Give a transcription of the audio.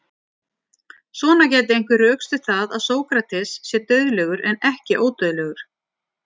Svona gæti einhver rökstutt það að Sókrates sé dauðlegur en ekki ódauðlegur.